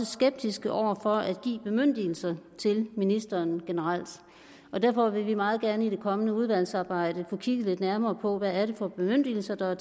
skeptiske over for at give bemyndigelser til ministeren generelt derfor vil vi meget gerne i det kommende udvalgsarbejde kigge lidt nærmere på hvad det er for bemyndigelser der er